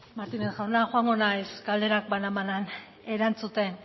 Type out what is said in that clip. martínez jauna joango naiz galderak banan banan erantzuten